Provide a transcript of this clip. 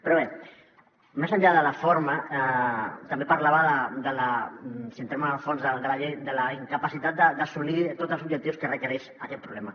però bé més enllà de la forma també parlava si entrem en el fons de la llei de la incapacitat d’assolir tots els objectius que requereix aquest problema